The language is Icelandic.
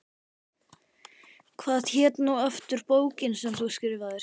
Hvað hét nú aftur bókin sem þú skrifaðir?